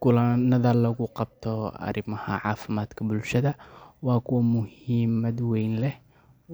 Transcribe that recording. Kulanada lagu qabto arrimaha caafimaadka bulshada waa kuwo muhiimad weyn leh